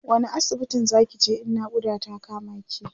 wani asibitin Zaki je in naƙuda ta kama ki?